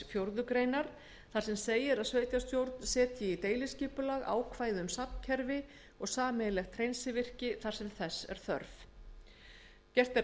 fjórðu grein þar sem segir að sveitarstjórn setji í deiliskipulag ákvæði um safnkerfi og sameiginlegt hreinsivirki þar sem þess er þörf gert er